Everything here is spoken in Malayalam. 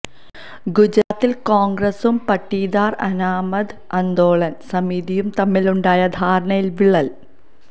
ഗുജറാത്തിൽ കോൺഗ്രസ്സും പട്ടീദാർ അനാമത് ആന്തോളൻ സമിതിയും തമ്മിലുണ്ടായ ധാരണയിൽ വിള്ളൽ